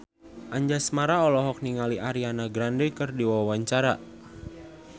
Anjasmara olohok ningali Ariana Grande keur diwawancara